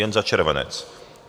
Jen za červenec!